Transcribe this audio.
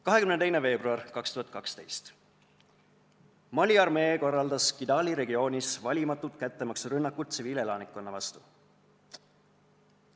22. veebruar 2012: Mali armee korraldas Kidali regioonis valimatu kättemaksurünnaku tsiviilelanikkonna vastu.